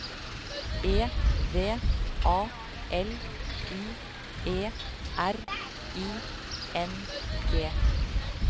E V A L U E R I N G